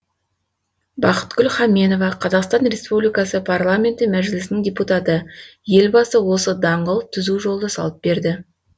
бақытгүл хаменова қазақстан республикасының парламенті мәжілісінің депутаты елбасы осы даңғыл түзу жолды салып берді